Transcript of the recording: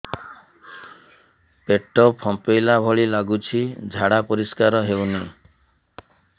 ପେଟ ଫମ୍ପେଇଲା ଭଳି ଲାଗୁଛି ଝାଡା ପରିସ୍କାର ହେଉନି